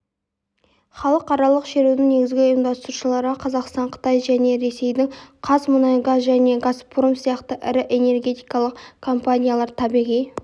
халықаралық шерудің негізгі ұйымдастырушылары қазақстан қытай және ресейдің қазмұнайгаз және газпром сияқты ірі энергетикалық компаниялар табиғи